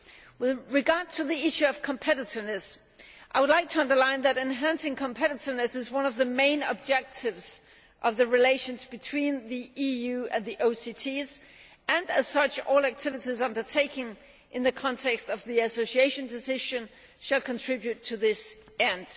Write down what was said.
With regard to the issue of competitiveness, I would like to emphasise that enhancing competitiveness is one of the main objectives of the relations between the EU and the OCTs and, as such, all activities undertaken in the context of the Association Decision shall contribute to this end.